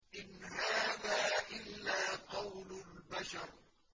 إِنْ هَٰذَا إِلَّا قَوْلُ الْبَشَرِ